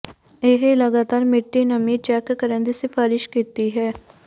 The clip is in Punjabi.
ਇਹ ਲਗਾਤਾਰ ਮਿੱਟੀ ਨਮੀ ਚੈੱਕ ਕਰਨ ਦੀ ਸਿਫਾਰਸ਼ ਕੀਤੀ ਹੈ